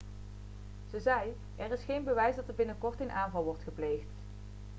ze zei er is geen bewijs dat er een binnenkort een aanval wordt gepleegd